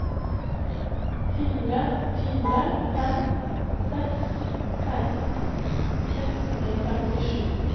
fire fire fem seks seksten seks hundre og femtisju